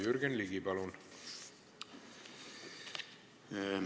Jürgen Ligi, palun!